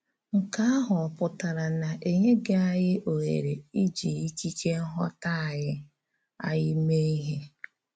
Nkè àhụ̀ ọ̀ pụtara na e nyèghị anyị òhèrè íjì ìkíke nghọ̀tà anyị anyị méé íhè?